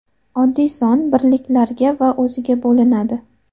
Oddiy son birliklarga va o‘ziga bo‘linadi.